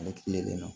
Ne tile kelen na